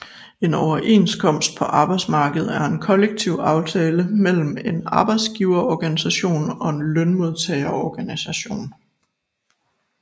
En Overenskomst på arbejdsmarkedet er en kollektiv aftale mellem en arbejdsgiverorganisation og en lønmodtagerorganisation